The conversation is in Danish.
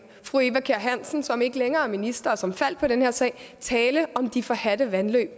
fru eva kjer hansen som ikke længere er minister og som faldt på den her sag tale om de forhadte vandløb